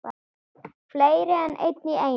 Fleiri en einn í einu?